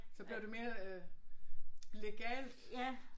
Så blev det mere øh legalt